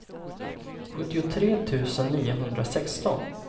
sjuttiotre tusen niohundrasexton